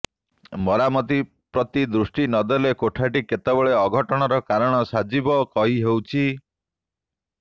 ମରାମତି ପ୍ରତି ଦୃଷ୍ଟି ନଦେଲେ କୋଠାଟି କେତେବେଳେ ଅଘଟଣର କାରଣ ସାଜିବ କହି ହେଉଛି